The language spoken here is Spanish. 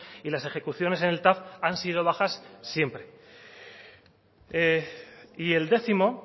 y las ejecuciones en el tav han sido bajas siempre y el décimo